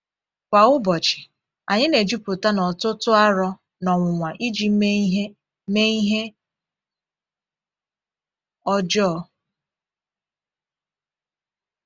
Kwa ụbọchị, anyị na-ejupụta na ọtụtụ aro na ọnwụnwa iji mee ihe mee ihe ọjọọ.